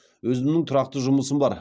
өзімнің тұрақты жұмысым бар